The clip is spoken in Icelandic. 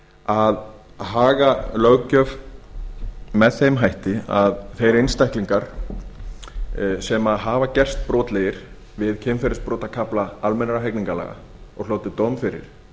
að haga löggjöf með þeim hætti að þeir einstaklingar sem hafa gerst brotlegir við kynferðisbrotakafla almennra hegningarlaga og hlotið dóm fyrir